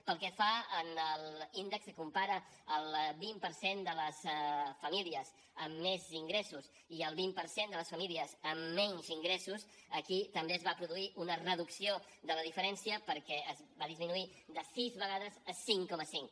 pel que fa a l’índex que compara el vint per cent de les famílies amb més ingressos i el vint per cent de les famílies amb menys ingressos aquí també es va produir una reducció de la diferència perquè va disminuir de sis vegades a cinc coma cinc